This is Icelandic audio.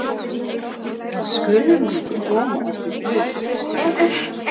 Þá skulum við koma okkur burt.